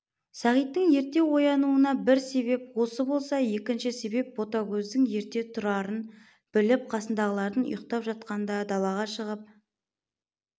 сағиттың ерте оянуына бір себеп осы болса екінші себеп ботагөздің ерте тұрарын біліп қасындағылар ұйқтап жатқанда далаға шығып